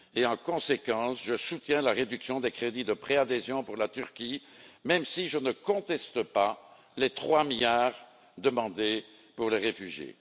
En conséquence, je soutiens la réduction des crédits de préadhésion pour la Turquie, sans toutefois contester les trois milliards demandés pour les réfugiés.